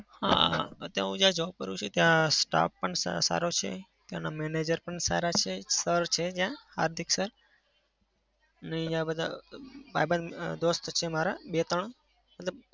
હા. અત્યારે હું જ્યાં job કરું છું ત્યાં staff પણ સારો છે. ત્યાંના manager પણ સારા છે. sir ત્યાં હાર્દિક sir ને અહિંયા બધા અમ ભાઈબંધ અમ દોસ્ત છે મારા બે ત્રણ મતલબ